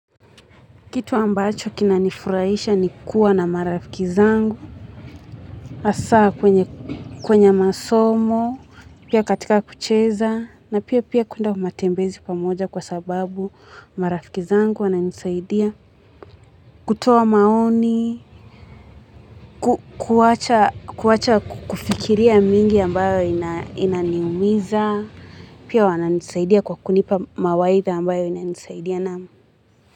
Kitu ambacho kinanifuraisha ni kuwa na marafiki zangu, asaa kwenye masomo, pia katika kucheza, na pia pia kuenda matembezi pamoja kwa sababu marafiki zangu wananisaidia. Kutoa maoni, kuwacha kufikiria mingi ambayo inaniumiza, pia wananisaidia kwa kunipa mawaitha ambayo inanisaidia naam.